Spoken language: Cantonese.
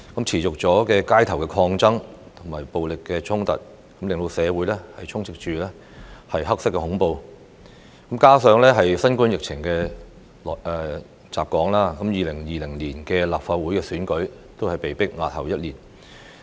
持續的街頭抗爭與暴力衝突，令社會充斥"黑色恐怖"，加上新冠疫情襲港 ，2020 年的立法會選舉被迫押後一年。